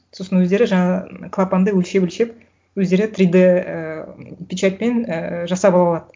сосын өздері жаңа клапанды өлшеп өлшеп өздері три д і печатьпен і жасап ала алады